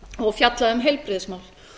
og fjallaði um heilbrigðismál